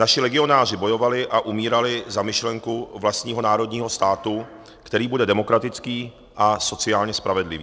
Naši legionáři bojovali a umírali za myšlenku vlastního národního státu, který bude demokratický a sociálně spravedlivý.